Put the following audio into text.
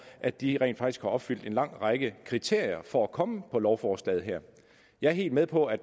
at de rent faktisk opfylder en lang række kriterier for at kunne komme med på lovforslaget her jeg er helt med på at